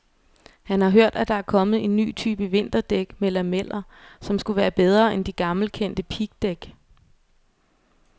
Han har hørt, at der er kommet en ny type vinterdæk med lameller, som skulle være bedre end de gammelkendte pigdæk.